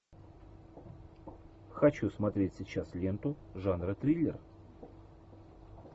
хочу смотреть сейчас ленту жанра триллер